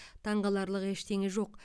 таңғаларлық ештеңе жоқ